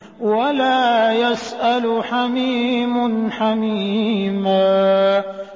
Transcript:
وَلَا يَسْأَلُ حَمِيمٌ حَمِيمًا